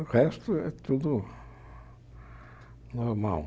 O resto é tudo normal.